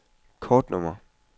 kortnummer